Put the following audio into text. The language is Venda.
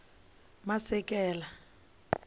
masekela